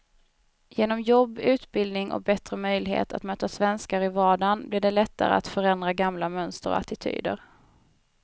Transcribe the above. Genom jobb, utbildning och bättre möjligheter att möta svenskar i vardagen blir det lättare att förändra gamla mönster och attityder.